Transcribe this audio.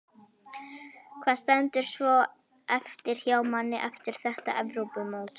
Hvað stendur svo eftir hjá manni eftir þetta Evrópumót?